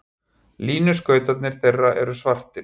Línuskautarnir þeirra eru svartir.